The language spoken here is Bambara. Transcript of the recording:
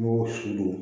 Mɔgɔw si don